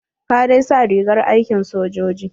Ka dai sa rigar aikin sojoji.